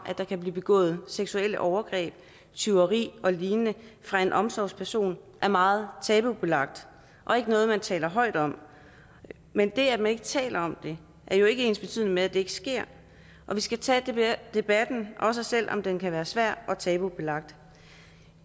der kan blive begået seksuelle overgreb tyveri og lignende fra en omsorgsperson er meget tabubelagt og ikke noget man taler højt om men det at man ikke taler om det er jo ikke ensbetydende med at det ikke sker og vi skal tage debatten også selv om den kan være svær og tabubelagt